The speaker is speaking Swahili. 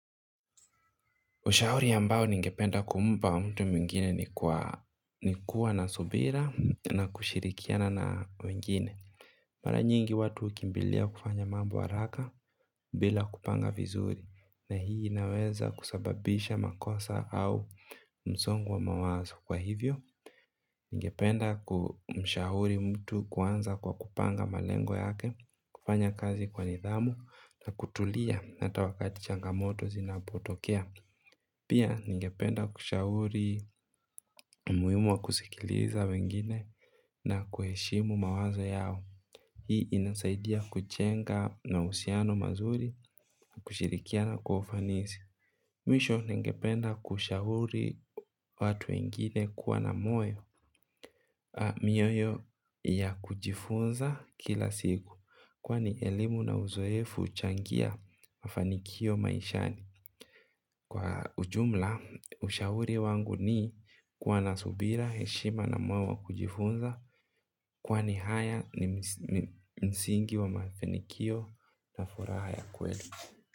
Ushauri ambao ningependa kumpa mtu mwingine ni kuwa ni kuwa na subira na kushirikiana na mwingine. Mara nyingi watu hukimbilia kufanya mambo haraka bila kupanga vizuri na hii inaweza kusababisha makosa au msongo wa mawazo kwa hivyo. Ningependa kumshahuri mtu kuanza kwa kupanga malengo yake, kufanya kazi kwa nidhamu na kutulia na hata wakati changamoto zinapotokea. Pia ningependa kushahuri umuhimu wa kusikiliza wengine na kuheshimu mawazo yao. Hii inasaidia kujenga na mahusiano mazuri na kushirikiana kwa ufanisi. Mwisho ningependa kushauri watu wengine kuwa na moyo. Mioyo ya kujifunza kila siku kwani elimu na uzoefu huchangia mafanikio maishani. Kwa ujumla, ushauri wangu ni kuwa na subira, heshima na moyo wa kujifunza kwani haya ni msingi wa mafanikio na furaha ya kweli.